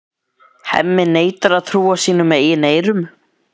Hemmi neitar að trúa sínum eigin eyrum.